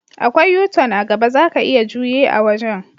Akwai U-tun a'gaba, zaka iya juye a wajen.